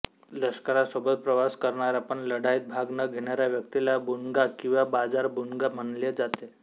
लश्करासोबत प्रवास करणाऱ्या पण लढाईत भाग न घेणाऱ्या व्यक्तीला बुणगा किंवा बाजारबुणगा म्हणले जाते